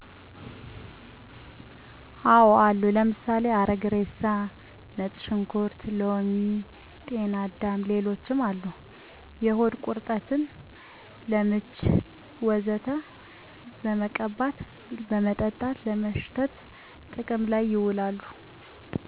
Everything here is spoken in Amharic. አዎ አሉ። ለምሳሌ፦ ሀረግ እሬሳ፣ ነጭ ሽንኩርት፣ ሎሚ፣ ጤናዳምና ሌሎችምአሉ። ለሆድ ቁረጠት፣ ለምች ወዘተ በመቀባት፣ በመጠጣት፣ በማሽተት ጥቅም ላይ ይውላሉ።